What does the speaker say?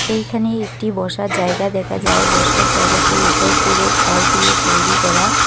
এইখানে একটি বসার জায়গা দেখা যায় বসার জায়গাটির উপর পুরো খর দিয়ে তৈরি করা।